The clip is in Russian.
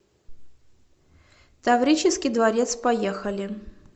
таврический дворец поехали